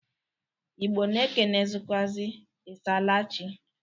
Igbọ na-ekenekwụazị, "I saala chị?"